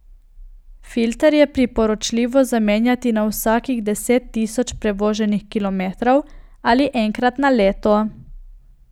Filter je priporočljivo zamenjati na vsakih deset tisoč prevoženih kilometrov ali enkrat na leto.